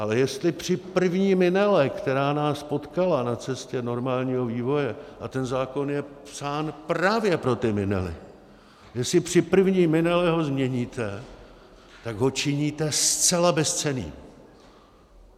Ale jestli při první minele, která nás potkala na cestě normálního vývoje, a ten zákon je psán právě pro ty minely, jestli při první minele ho změníte, tak ho činíte zcela bezcenným.